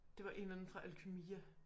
Det var en eller anden fra alkymia